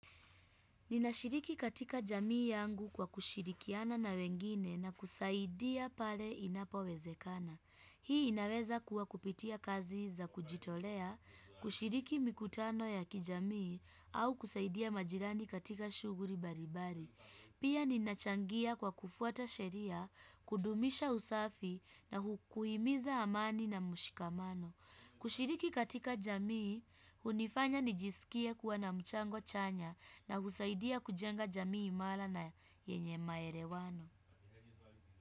Ninashiriki katika jamii yangu kwa kushirikiana na wengine na kusaidia pale inapo wezekana. Hii inaweza kuwa kupitia kazi za kujitolea, kushiriki mikutano ya kijamii au kusaidia majirani katika shuguri baribari. Pia ninachangia kwa kufuata sheria, kudumisha usafi na hukuhimiza amani na mushikamano. Kushiriki katika jamii, unifanya nijisikie kuwa na mchango chanya na husaidia kujenga jamii imala na yenye maere wano.